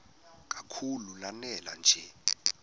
kakhulu lanela nje